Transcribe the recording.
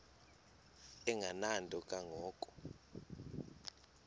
engenanto kanga ko